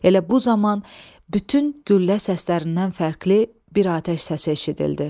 Elə bu zaman bütün güllə səslərindən fərqli bir atəş səsi eşidildi.